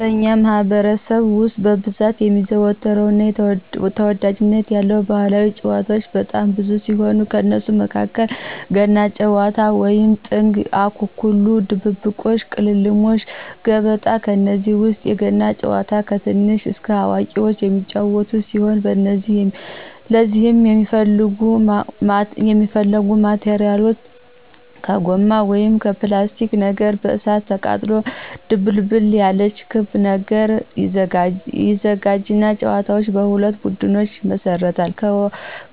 በእኛ ማህበረሰብ ውስጥ በብዛት የሚዘወተሩ እና ተወዳጅነት ያላቸው ባህላዊ ጭዋታዎች በጣም ብዙ ሲሆኑ ከነሱም መካከል ገና ጭዋታ ወይም ጥንግ፣ አኮኩሉ ድብብቆሽ፣ ቅልሞሽ፣ ገበጣ፣ ከነዚህ ውስጥ የገና ጭዋታን ከትንሽ እስከ አዋቁዎች የሚጫዎቱት ሲሆን ለዚህም የሚያስፈልጉ ማቴራሎች ከጎማ ወይም ከላስቲክ ነገር በእሳት አቃጥሎ ድቡልቡል ያለች ክብ ነገር ይዘጋጅና ተጫዋቾች ሁለት ቡድኖች ይመሰርቱና